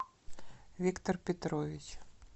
виктор петрович